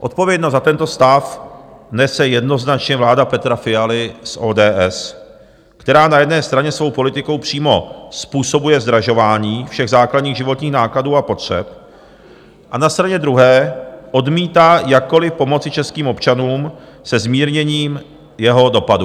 Odpovědnost za tento stav nese jednoznačně vláda Petra Fialy z ODS, která na jedné straně svou politikou přímo způsobuje zdražování všech základních životních nákladů a potřeb a na straně druhé odmítá jakkoliv pomoci českým občanům se zmírněním jeho dopadů.